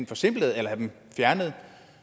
forsimplet eller fjernet